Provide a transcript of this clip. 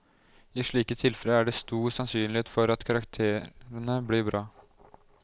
I slike tilfeller er det stor sannsynlighet for at karakterene blir bra.